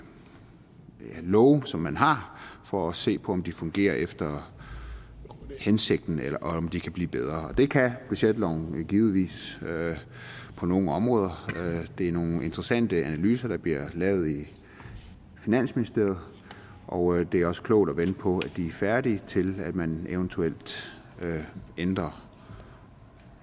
love som man har for at se på om de fungerer efter hensigten og om de kan blive bedre og det kan budgetloven givetvis på nogle områder det er nogle interessante analyser der bliver lavet i finansministeriet og det er også klogt at vente på de er færdige til at man eventuelt ændrer